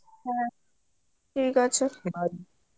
হ্যাঁ ঠিক আছে